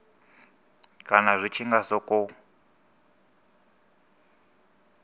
kana zwi tshi nga sokou